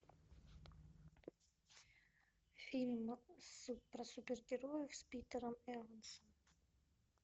фильм про супергероев с питером эвансом